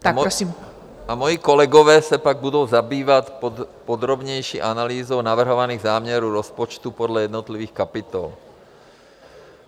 A moji kolegové se pak budou zabývat podrobnější analýzou navrhovaných záměrů rozpočtu podle jednotlivých kapitol.